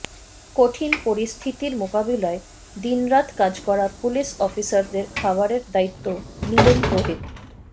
কঠিন পরিস্থিতির মোকাবিলায় দিনরাত কাজ করা পুলিশ অফিসারদের খাবারের দায়িত্ব নিলেন রোহিত